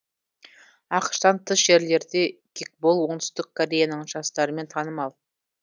ақш тан тыс жерлерде кикбол оңтүстік кореяның жастарымен танымал